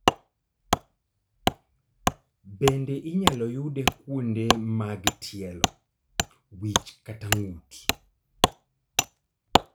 Bende inyalo yude kuonde mag tielo, wich kata ng'ut